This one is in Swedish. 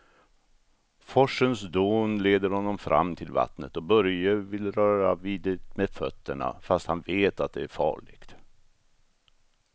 Forsens dån leder honom fram till vattnet och Börje vill röra vid det med fötterna, fast han vet att det är farligt.